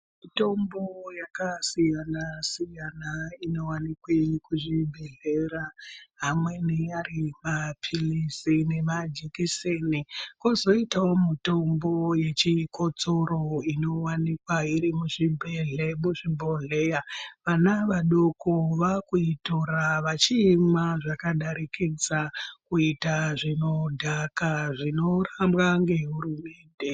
Mitombo yakasiyana siyana inowanikwa kuzvibhehlera amweni ari mapilizi nemajekiseni. Kwozoitawo mitombo yechikotsoro inowanikwa iri muzvibhohleya. Vana vadoko vakuitora vachiimwa zvakadarikidza kuita zvinodhaka zvinorambwa ngehurumende.